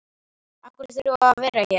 Af hverju þurfum við að vera hér?